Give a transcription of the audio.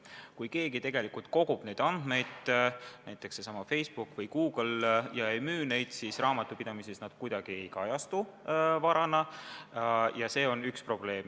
Kui keegi tegelikult kogub andmeid, näiteks Facebook või Google, ja ei müü neid, siis raamatupidamises need kuidagi ei kajastu varana ja see on üks probleem.